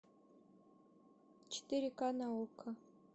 четыре к на окко